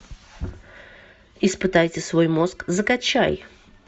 испытайте свой мозг закачай